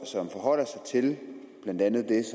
som forholder sig til blandt andet det